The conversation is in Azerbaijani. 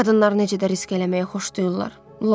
Qadınlar necə də risk eləməyi xoşlayırlar.